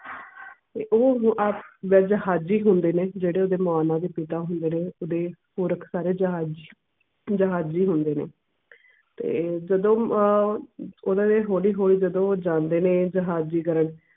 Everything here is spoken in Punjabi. ਤੇ ਓਹੋ ਹੁਣ ਆਪ ਜਿਹੜੇ ਜਹਾਜੀ ਹੁੰਦੇ ਨੇ ਜਿਹੜੇ ਓਹਦੇ ਨਾਲ ਨਾਲ ਓਹਦੇ ਪਿਤਾ ਹੁੰਦੇ ਨੇ ਓਹਦੇ ਪੁਰਖ ਸਾਰੇ ਜਹਾ ਜਹਾਜੀ ਹੁੰਦੇ ਨੇ ਤੇ ਜਦੋਂ ਅਹ ਓਹਨਾ ਨੇ ਹੌਲੀ ਹੌਲੀ ਜਦੋਂ ਜਾਂਦੇ ਨੇ ਜਹਾਜੀ ਕਰਨ